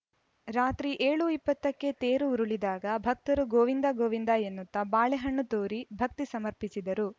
ರಾತ್ರಿ ಏಳು ಇಪ್ಪತ್ತಕ್ಕೆ ತೇರು ಉರುಳಿದಾಗ ಭಕ್ತರು ಗೋವಿಂದ ಗೋವಿಂದ ಎನ್ನುತ್ತಾ ಬಾಳೆ ಹಣ್ಣು ತೂರಿ ಭಕ್ತಿ ಸಮರ್ಪಿಸಿದರು